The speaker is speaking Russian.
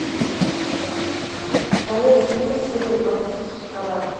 доверься мне серия двадцать вторая